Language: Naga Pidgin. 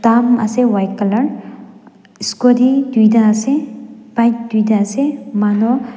kan ase white colour scooty tuita ase bike tuita ase mano.